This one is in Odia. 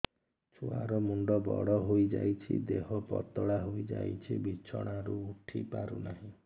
ଛୁଆ ର ମୁଣ୍ଡ ବଡ ହୋଇଯାଉଛି ଦେହ ପତଳା ହୋଇଯାଉଛି ବିଛଣାରୁ ଉଠି ପାରୁନାହିଁ